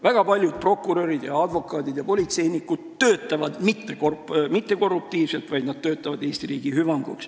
Väga paljud prokurörid ja advokaadid ja politseinikud töötavad mittekorruptiivselt, nad töötavad Eesti riigi hüvanguks.